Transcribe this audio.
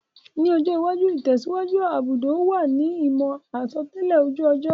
Ní ọjọ́ iwájú, ìtẹ̀síwájú gbudò wa ni ìmò àsotẹ́lẹ̀ ojú ọjọ́